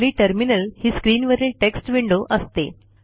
हल्ली टर्मिनल ही स्क्रीनवरील टेक्स्ट विंडो असते